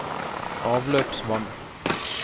avløpsvann